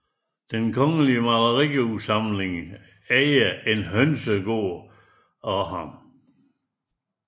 Den Kongelige Malerisamling ejer En Hønsegaard af ham